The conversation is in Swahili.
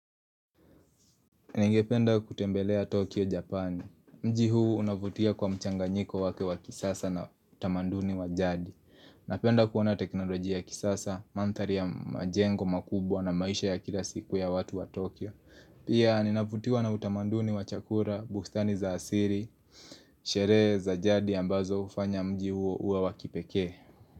Ningependa kutembelea Tokyo, Japan. Mji huu unavutia kwa mchanganyiko wake wa kisasa na utamanduni wa jadi. Napenda kuona teknolojia ya kisasa, mandhari ya majengo makubwa na maisha ya kila siku ya watu wa Tokyo. Pia ninavutiwa na utamaduni wa chakula, bustani za asili, sherehe za jadi ambazo hufanya mji huo uwa wakipekee.